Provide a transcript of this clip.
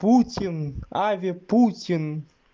путин аве путин